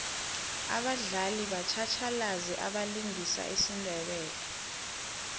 abadlali batjhatjhalazi abalingisa isindebele